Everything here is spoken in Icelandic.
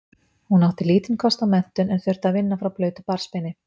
Hún átti lítinn kost á menntun en þurfti að vinna frá blautu barnsbeini.